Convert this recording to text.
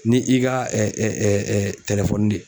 Ni i ka de